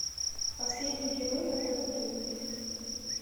последний герой на тв три